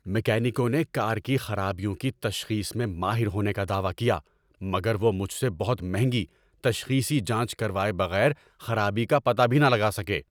میکینکوں نے کار کی خرابیوں کی تشخیص میں ماہر ہونے کا دعوی کیا مگر وہ مجھ سے بہت مہنگی 'تشخیصی جانچ' کروائے بغیر خرابی کا پتہ بھی نہ لگا سکے؟